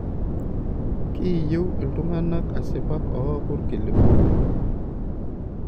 Kiiyieu iltunganak asipak ooku ilkiliku.